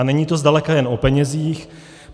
A není to zdaleka jen o penězích.